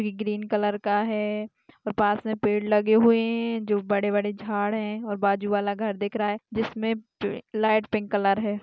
Green colour का है और पास में पेड़ लगे हुए हैं दो बड़े-बड़े झाड़ हैं और बाजू वाला घर दिख रहा है जिसमें लाइट पिंक कलर है।